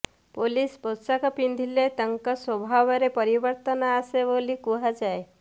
police ପୋଷାକ ପିନ୍ଧିଲେ ତାଙ୍କ ସ୍ୱଭାବରେ ପରିବର୍ତ୍ତନ ଆସେ ବୋଲି କୁହାଯାଏ